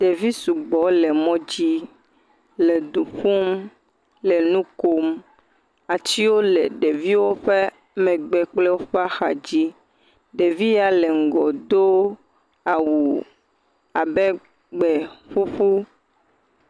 Ɖevi sugbɔ le mɔdzi le du ƒum, le nu kom, atsiwo le ɖeviwo ƒe megbe kple woƒe ahadzi, ɖevi ya le ŋgɔ do awu abe gbeƒuƒu.